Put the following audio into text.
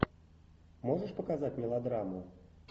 можешь показать мелодраму